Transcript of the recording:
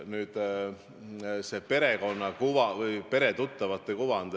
Nüüd see peretuttava kujund.